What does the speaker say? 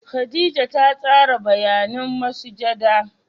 Khadijah ta tsara bayanan masujada.